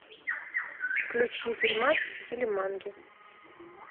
включи фильмас в стиле манги